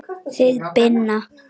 Þið Binna?